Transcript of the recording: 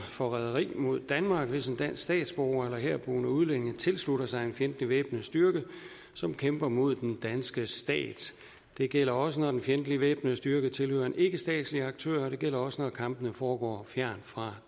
forræderi mod danmark hvis en dansk statsborger eller herboende udlænding tilslutter sig en fjendtlig væbnet styrke som kæmper mod den danske stat det gælder også når den fjendtlige væbnede styrke tilhører en ikkestatslig aktør og det gælder også når kampene foregår fjernt fra